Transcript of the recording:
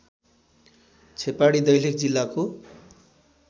छेपाडी दैलेख जिल्लाको